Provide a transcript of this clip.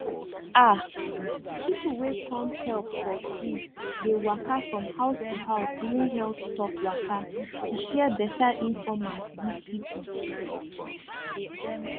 ah people wey come help for free dey waka from house to house during health talk waka to share beta infomate give people